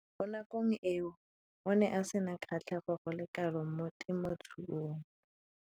Mo nakong eo o ne a sena kgatlhego go le kalo mo temothuong.